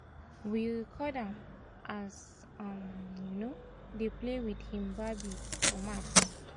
we record am as um um dey play with hin babi for mat